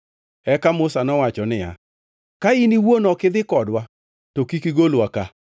Eka Musa nowacho niya, “Ka in iwuon ok idhi kodwa, to kik igolwa ka.